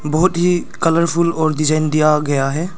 बहुत ही कलरफुल और डिजाइन दिया गया है।